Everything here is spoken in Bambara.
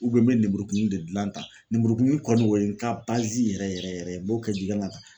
n bɛ lemuru kumuni de gilan tan lenmurukumuni kɔni o ye n ka yɛrɛ yɛrɛ yɛrɛ ye n b'o kɛ